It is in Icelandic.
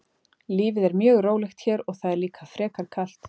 Lífið er mjög rólegt hér og það er líka frekar kalt.